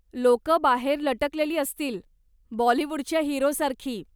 लोकं बाहेर लटकलेली असतील, बॉलीवूडच्या हिरोसारखी.